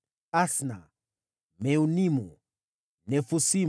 wazao wa Asna, Meunimu, Nefusimu,